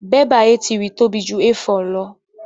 Bẹ́bà A3 tóbi ju A4 lọ.